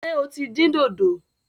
Ṣé o tí dín dòdò?